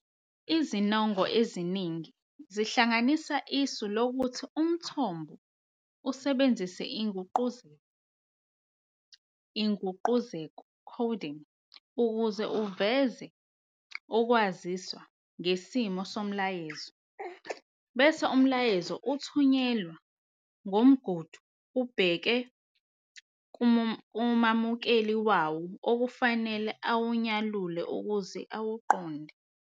Izinongo eziningi zihlanganisa isu lokuthi umthombo usebenzisa inguqukezo "coding" ukuze uveze ukwaziswa ngesimo somlayezo. Bese umlayezo uthunyelwa ngomgudu ubheke kumamukeli wawo okufanele awunyalule ukuze awuqonde.